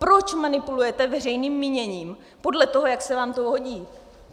Proč manipulujete veřejným míněním podle toho, jak se vám to hodí?